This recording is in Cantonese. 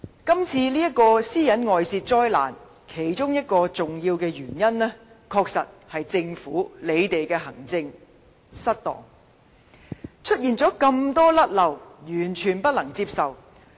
今次這宗私隱外泄災難，其中一個重要原因，確實是政府在行政上有失當，出現眾多錯失，完全不可接受。